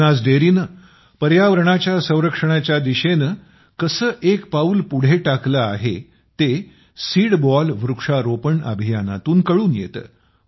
बनास डेअरीने पर्यावरणाच्या संरक्षणाच्या दिशेने कसे एक पाऊल पुढे टाकले आहे ते सीडबॉल वृक्षारोपण अभियानातून कळून येते